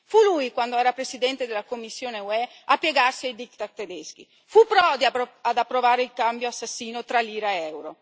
Fu lui, quando era Presidente della Commissione UE, a piegarsi ai diktat tedeschi, fu Prodi ad approvare il cambio assassino tra lira ed euro.